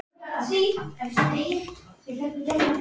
Jóhanna Margrét: Nei, hann skoraði?